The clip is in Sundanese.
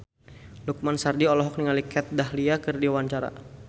Lukman Sardi olohok ningali Kat Dahlia keur diwawancara